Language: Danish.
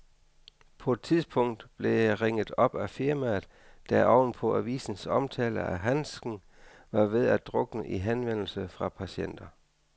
På et tidspunkt blev jeg ringet op af firmaet, der oven på avisens omtale af handsken var ved at drukne i henvendelser fra patienter.